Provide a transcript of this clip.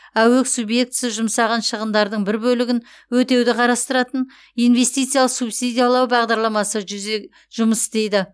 аөк субъектісі жұмсаған шығындардың бір бөлігін өтеуді қарастыратын инвестициялық субсидиялау бағдарламасы жұмыс істейді